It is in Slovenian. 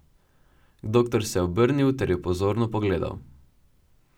Doktor se je obrnil ter jo pozorno pogledal.